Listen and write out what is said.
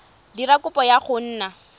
dira kopo ya go nna